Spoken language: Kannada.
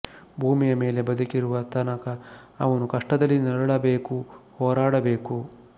ಭೂಮಿಯ ಮೇಲೆ ಬದುಕಿರುವ ತನಕ ಅವನು ಕಷ್ಟದಲ್ಲಿ ನರಳಬೇಕು ಹೋರಾಡಬೇಕು